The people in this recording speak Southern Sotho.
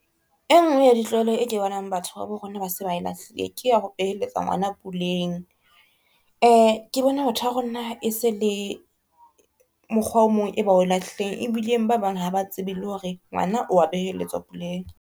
E ngwe ya ditlwaelo e ke bonang batho ba bo rona ba se ba e lahlile. Ke ya ho beheletsa ngwana puleng. Ke bona batho ba rona e se le mokgwa o mong e ba o lahlileng, ebileng ba bang ha ba tsebe le hore ngwana wa beheletswa puleng.